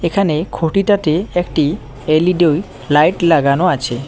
এখানে খুঁটিটাতে একটি এল_ই_ডি লাইট লাগানো আছে।